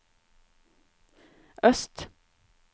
øst